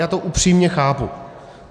Já to upřímně chápu.